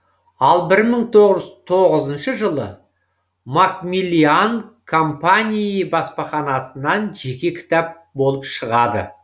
ал бір мың тоғыз жүз тоғызыншы жылы макмиллиан компании баспаханасынан жеке кітап болып шығады